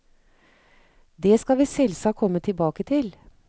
Det skal vi selvsagt komme tilbake til.